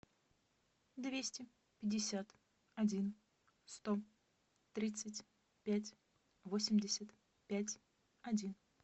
двести пятьдесят один сто тридцать пять восемьдесят пять один